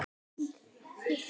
Það blæddi úr Heiðu.